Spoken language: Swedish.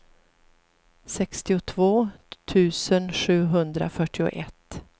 sextiotvå tusen sjuhundrafyrtioett